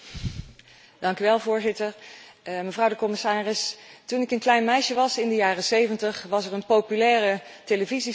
Mevrouw de commissaris, toen ik een klein meisje was in de jaren zeventig, liep er een populaire televisieserie De man van 6 miljoen.